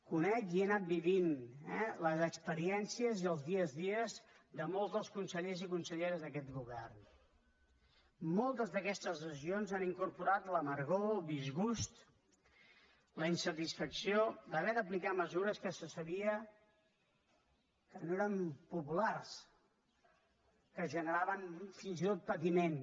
conec i he anat vivint eh les experiències i els dia a dia de molts dels consellers i conselleres d’aquest govern moltes d’aquestes decisions han incorporat l’amargor el disgust la insatisfacció d’haver d’aplicar mesures que se sabia que no eren populars que generaven fins i tot patiment